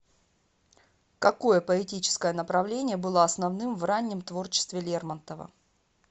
какое поэтическое направление было основным в раннем творчестве лермонтова